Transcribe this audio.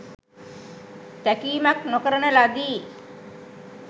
තැකීමක් නොකරන ලදී.